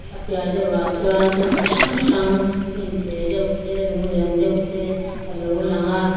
a piah deuhah chuan thil chi hrang hrang hnim te deuh te lung lian deuh te alo lang a.